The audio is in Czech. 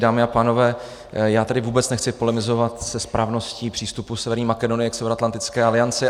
Dámy a pánové, já tady vůbec nechci polemizovat se správností přístupu Severní Makedonie k Severoatlantické alianci.